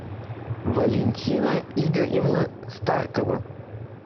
валентина игоревна старкова